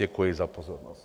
Děkuji za pozornost.